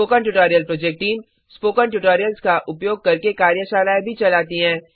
spoken tutorial project team spoken tutorials का उपयोग करके कार्यशालाएँ भी चलाती है